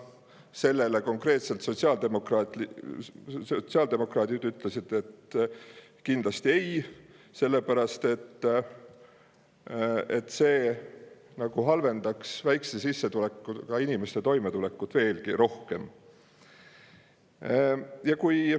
Sellele konkreetselt ütlesid sotsiaaldemokraadid kindlasti ei, sellepärast et see halvendaks väikese sissetulekuga inimeste toimetulekut veelgi rohkem.